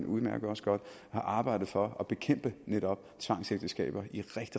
udmærket godt arbejdet for at bekæmpe netop tvangsægteskaber i